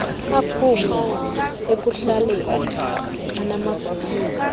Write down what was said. aphuma ekuhlaleni anamagunya